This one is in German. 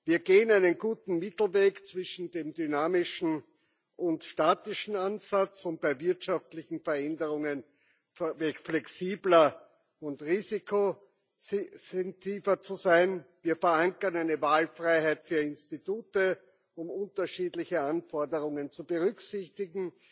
Wir gehen einen guten Mittelweg zwischen dem dynamischen und dem statischen Ansatz, um bei wirtschaftlichen Veränderungen flexibler und risikosensitiver zu sein, wir verankern eine Wahlfreiheit für Institute, um unterschiedliche Anforderungen zu berücksichtigen,